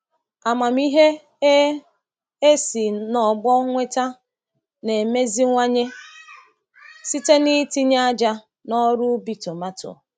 Amamihe e e si n’ọgbọ nweta na-emeziwanye site n’itinye ájá n’ọrụ ubi tomato.